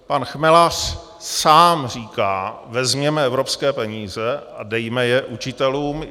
Pan Chmelař sám říká, vezměme evropské peníze a dejme je učitelům.